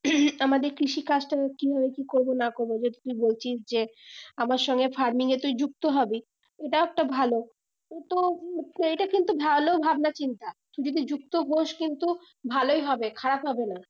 আমাদের কৃষি কাজটা কিভাবে কি করবো না করবো তুই বলছিস যে আমার সঙ্গে farming এ তুই যুক্ত হবি ওটাও একটা ভালো ওটা~উ এটা কিন্তু ভালো ভাবনা চিন্তা তুই যদি যুক্ত হস কিন্তু ভালোই হবে খারাপ হবে না